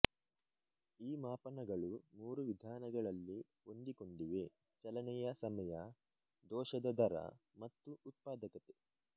ಈ ಮಾಪನಗಳು ಮೂರು ವಿಧಾನಗಳಲ್ಲಿ ಹೋಂದಿಕೊಂಡಿವೆ ಚಲನೆಯ ಸಮಯ ದೋಷದ ದರ ಮತ್ತು ಉತ್ಪಾದಕತೆ